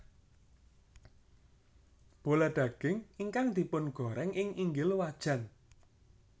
Bola daging ingkang dipungoreng ing inggil wajan